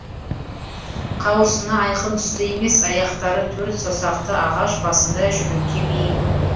қауырсыны айқын түсті емес аяқтары төрт саусақты ағаш басында жүруге бейім